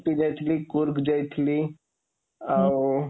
ଉଟ୍ଟି ଯାଇଥିଲି, କୁର୍ଗ ଯାଇଥିଲି ଆଉ